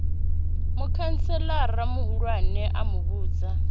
mukhantselara muhulwane a mu vhudza